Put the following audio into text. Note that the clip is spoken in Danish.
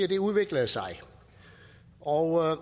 det udviklede sig og